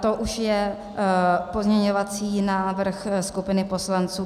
To už je pozměňovací návrh skupiny poslanců.